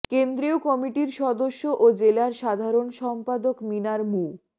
কেন্দ্রীয় কমিটির সদস্য ও জেলার সাধারণ সম্পাদক মিনার মু